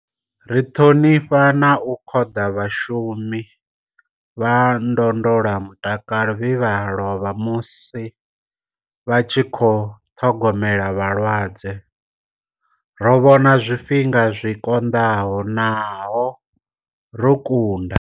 Ri ṱhonifha na u khoḓa vhashumi vha ndondolamutakalo vhe vha lovha musi vha tshi khou ṱhogomela vhalwadze. Ro vhona zwifhinga zwi konḓaho nahone ro kunda.